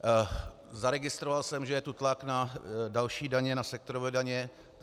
Zaregistroval jsem, že je tu tlak na další daně, na sektorové daně.